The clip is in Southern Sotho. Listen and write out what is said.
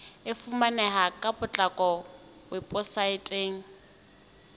e fumaneha ka potlako weposaeteng